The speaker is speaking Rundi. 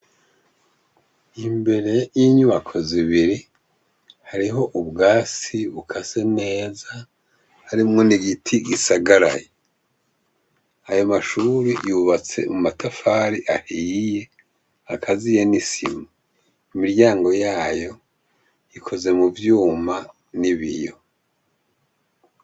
Imbere yinyubako zibiri hariho ubwatsi bukase neza harimwo nigiti gisagaraye ayo mashure yubatse mumatafari ahiye agaziye nisima imiryango yayo ikozwe muvyuma nibiyo